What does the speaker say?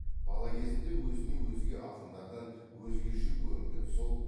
бала кезінде өзіне өзге ақындардан өзгеше көрінген сол